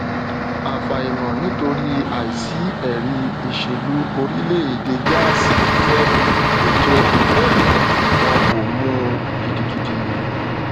afàìmọnitori àìsí ẹrí ìṣèlú orílẹèdè gáàsí fífẹ ètò ngep wọn kò mú gidigidi